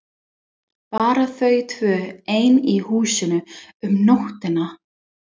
Bara þau tvö ein í húsinu um nóttina!